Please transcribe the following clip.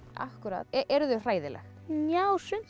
eru þau hræðileg já sum